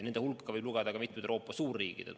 Nende hulka võib lugeda ka mitmed Euroopa suurriigid.